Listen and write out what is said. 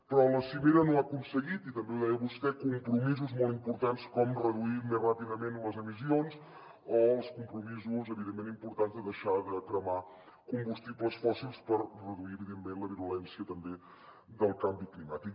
però la cimera no ha aconseguit i també ho deia vostè compromisos molt importants com reduir més ràpidament les emissions o els compromisos evidentment importants de deixar de cremar combustibles fòssils per reduir evidentment la virulència també del canvi climàtic